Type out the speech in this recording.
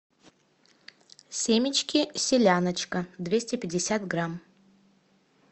семечки селяночка двести пятьдесят грамм